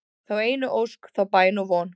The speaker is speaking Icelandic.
þá einu ósk, þá bæn og von